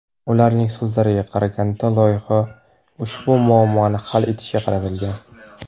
Ularning so‘zlariga qaraganda, loyiha ushbu muammoni hal etishga qaratilgan.